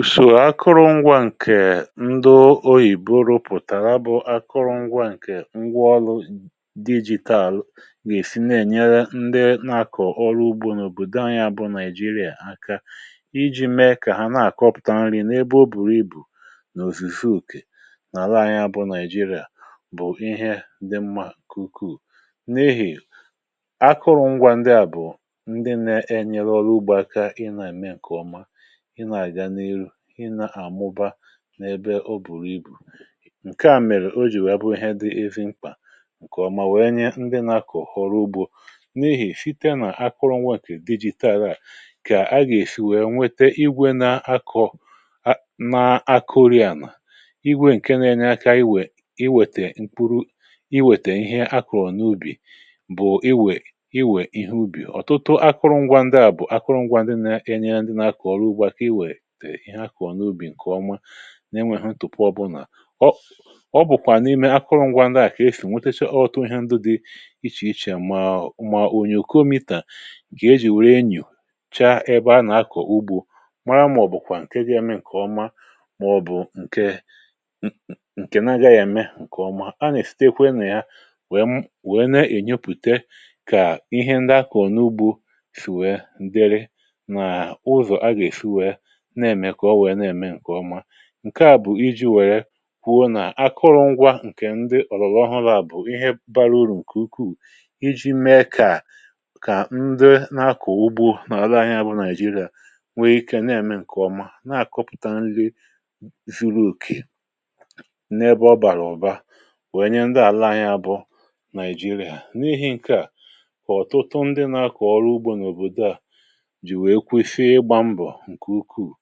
Ùsò akụrụngwȧ ǹkè ndị oyìbo rụpụ̀tàrà bụ akụrụngwȧ ǹkè ngwa ọrụ dijitalụ nà-èsi nà-ènyere ndị nà-akọ̀ ọrụ ugbȯ n’òbò dịa anyȧ bụ Nàịjìrìà aka, iji̇ mee kà ha na-àkọpụ̀ta nri nà ebe ọ bùrù ibù. N’òzùsu ùke nà àla anyȧ bụ Nàịjìrìà, um bụ̀ ihe ndị mmȧ kùkù n’ihì akụrụngwȧ ndị à bụ̀ ndị nà-ēnyere ọrụ ugbȯ aka, ị nà-ème ǹkè ọma, um ị nà-àmụba n’ebe ọ bùrù ibù. Ǹkè à mèrè o jì wee bụ̀ ihe dị evi mkpà ǹkè ọma, nwèe nye ndị nà-akọ̀ họ̀rọ ugbȯ n’ihì̇ site nà akụrụ̇ngwà dijitalụà, kà agà-èsi wee nwete igwe na-akọ̀, na-akọ̀rị̀ànà igwe ǹke na-enye akȧ iwè, iwètè mkpụrụ, iwètè ihe akọ̀rọ̀ n’ubì. Bụ̀ iwè iwè ihe ubì. Ọ̀tụtụ akụrụngwȧ ndị à bụ̀ akụrụngwȧ ndị na-enye akọ̀ ọrụ ugbȯ ihe akọ̀ ọ̀nàubì ǹkè ọma, um na-enwė hụ tụpụ ọbụlà. Ọ bụ̀kwà n’ime akụrụ̇ngwȧ ndị à kà esì nweteche ọghọtụ ihe ndụ dị ichè ichè, mà, ònyòkòmità ǹkè e jì wèrè enyù chaa ebe a nà-akọ̀ ugbȯ mara, màọ̀bụ̀kwà ǹkè ga-eme ǹkè ọma, màọ̀bụ̀ ǹkè nà-aga ya eme ǹkè ọma. À nà-èsitekwe nà ya wee nà-ènyepùte kà ihe ndị akọ̀ ọ̀nàugbȯ sìwe ndịrị nà ụzọ̀ a gà-èsi wee na-èmè kà ọ wèe na-ème ǹkè ọma. Ǹkè à bụ̀ iji̇ wèrè kwuo nà akụrụngwȧ ǹkè ndị ọ̀lọ̀lọ̀ ha laa bụ̀ ihe bara urù ǹkè ukwuù, iji̇ mee kà ndị na-akọ̀ ugbȯ nà-arị ahịȧ bụ̇ Nàịjìrìà nwee ikė na-ème ǹkè ọma, um na-àkọpụ̀ta nri zuru òkè n’ebe ọ bàrà ọ̀ba, wee nye ndị àla ahịa bụ̇ Nàịjìrìà. N’ihì̇ ǹkè à, kà ọ̀tụtụ ndị na-akọ̀ ọrụ ugbȯ n’òbòdo à jì wèe kwėfe ịgbȧ mbọ̀ ǹkè ukwuù,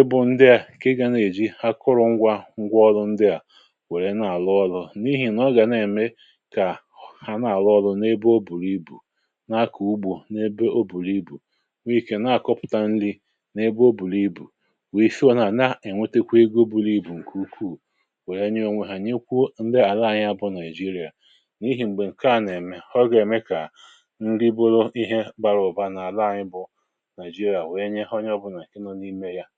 ịbụ̇ ndị à ǹkè ị gà na-èji akụrụ̇ngwà ngwaọrụ ndị à wèrè na-àlụ ọlụ, um n’ihì̇ nà ọ gà na-ème kà hà na-àlụ ọlụ n’ebe o bùrù ibù, na-akọ̀ ugbȯ, n’ebe o bùrù ibù, wèe fịọ nà na-ènwetekwa ego. Ǹkè ukwuù wèe nye onwe hà nyekwu m̀bè àla ànyị, ya bụ̇ Nàịjìrìà. um N’ịhì̇ m̀gbè ǹkè a nà-ème hụ gà-ème kà nri bùlụ ihe bara ụ̀ba nà àla ànyị bụ̇ Nàịjìrìà. Enyi, ị gà-ẹ̀mẹghalịzị, wèe mèkwà n’ọnọ̀dụ nà-àgideghi̇ — mèkwà ẹkwẹ̀rẹ̀ ọnọ̀dụ nà-àgideghi̇, mèkwẹ̀lị̀ ọnọ̀dụ nà-àgideghi̇, mèkwẹ̀lị̀ ọnọ̀dụ nà-àgideghi̇ — mèkwẹ̀lị̀ ọnọ̀dụ nà-àgideghi̇, mèkwẹ̀lị̀ ọnọ̀dụ nà-àgideghi̇.